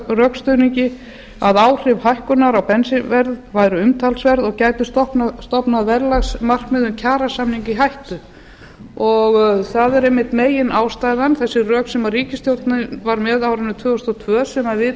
rökstuðningi að áhrif hækkunar á bensínverð væru umtalsverð og gætu stofnað verðlagsmarkmiðum kjarasamninga í hættu það er einmitt meginástæðan þessi rök sem ríkisstjórnin var með á árinu tvö þúsund og tvö sem við